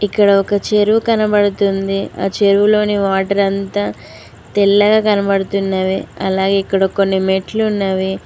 ఇక్కడ ఒక చెరువు కనబడుతుంది ఆ చెరువులోని వాటర్ అంతా తెల్లగా కనబడుతున్నవే అలా ఇక్కడ కొన్ని మెట్లు ఉన్నవి.